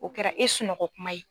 O kɛra e sunɔgɔ kuma ye.